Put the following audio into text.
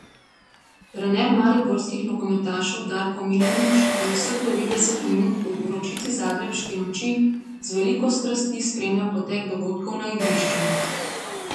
Trener mariborskih nogometašev Darko Milanič je vseh devetdeset minut v vročici zagrebške noči z veliko strasti spremljal potek dogodkov na igrišču.